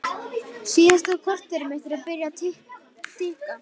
Síðasta korterið mitt er byrjað að tikka.